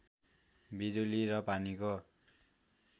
बिजुली र पानीको